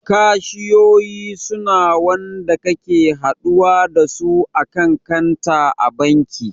Kashiyoyi suna wanda kake haɗuwa dasu a kan kanta a banki